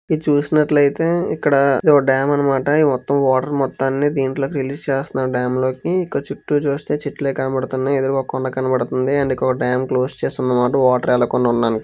ఇది చూసినట్లయితే ఇక్కడ ఇదో ఓ డ్యామ్ అన్నమాట. ఈ మొత్తం వాటర్ మొత్తాన్ని దీంట్లోకి రిలీజ్ చేస్తున్నారు డ్యామ్ లోకి. ఇక్కడ చుట్టూ చూస్తే చెట్లే కనపడుతున్నయ్. ఎదురుగా ఒక కొండ కనబడుతుంది.అండ్ ఇక్కడొక డ్యామ్ క్లోజ్ చేసి ఉంది మాట.వాటర్ వెళ్ళకుండా ఉండడానికి.